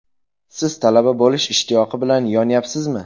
Siz talaba bo‘lish ishtiyoqi bilan yonyapsizmi?